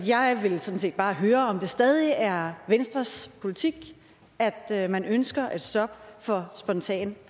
jeg vil sådan set bare høre om det stadig er venstres politik at man ønsker et stop for spontan